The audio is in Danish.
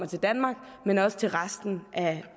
til danmark men også til resten